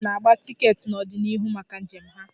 Ndị njem na-agba tiketi n'ọdịnihu maka njem ha.